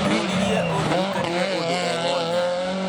ngũririe ũndirikanie ũndũ o wothe